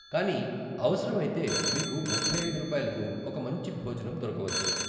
కానీ అవసరమైతే మీకు ముప్పై ఐదు రూపాయలకు ఒక మంచి భోజనం దొరకవచ్చు.